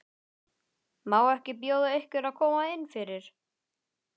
Má ekki bjóða ykkur að koma innfyrir?